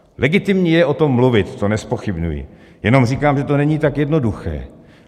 Legitimní je o tom mluvit, to nezpochybňuji, jenom říkám, že to není tak jednoduché.